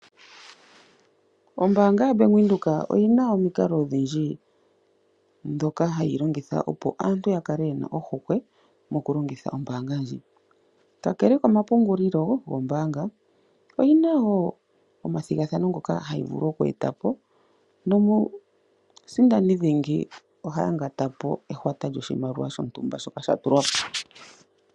Ombaanga yo Bank Windhoek oyi na omikalo odhindji dhoka hayi longitha opo aantu ya kale yena ohokwe, mokulongitha ombaanga ndji. Kakele komapungulilo gombaanga pyi na wo omathigathano ngoka hayi vulu oju eta po, nomusindani dhingi oha yangata po ehwata loshimaliwa shintumba shoka sha tulwa po.